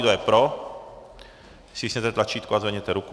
Kdo je pro, stiskněte tlačítko a zvedněte ruku.